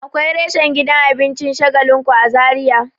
Akwai reshen gidan abincin shagalinku a zaria